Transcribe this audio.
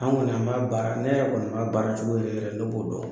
An kɔni an b'a baara . Ne yɛrɛ kɔni b'a baara cogo yɛrɛ ne b'o dɔn.